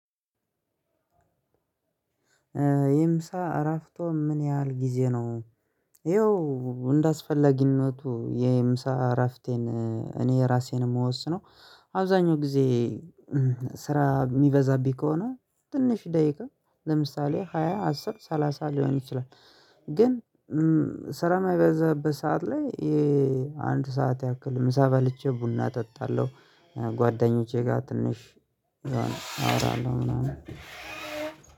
የምሳ እራፍቷ ምን ያህል ጊዜ ነው? ይኸው እንዳስፈለጊነቱ የምሳ እረፍቴን እኔ ራሴን የምወስነው አብዛኛው ጊዜ ስራ የሚበዛብኝ ከሆነ ትንሽ ደቂቃ ለምሳሌ ሃያ አስር ሰላሳ ሊሆን ይችላል። ግን ሰራ ማይበዛበት ሰዓት ላይ አንድ ሰዓት ያክል ምሳ በልቼ ቡና እጠጣለሁ። ጓደኞቼ ጋር ትንሽ አወራለሁ ምናምን።